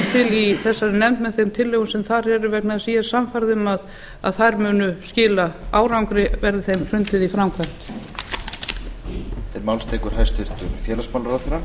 í þessari nefnd með þeim tillögum sem þar eru vegna þess að ég er sannfærð um að þær munu skila árangri verði þeim hrundið í framkvæmd